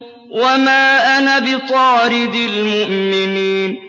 وَمَا أَنَا بِطَارِدِ الْمُؤْمِنِينَ